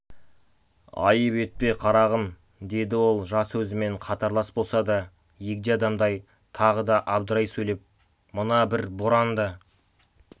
айып етпе қарағым деді ол жасы өзімен қатарлас болса да егде адамдай тағы да абдырай сөйлеп мына бір боран да